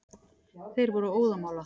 Þeir voru óðamála.